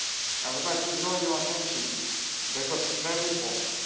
I would like to draw your attention to this because it is very important.